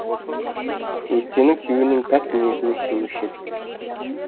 өйткені күйеуінің пәк ниетіне сенуші еді